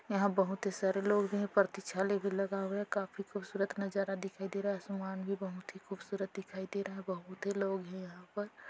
यहाँ बहुत ही सारे लोग है लगा हुआ है काफी खूबसूरत नजारा दिखाई देरा है सामान भी बहुत खूबसूरत दिखाई देरा है बहुत ही लोग है यहाँ पर।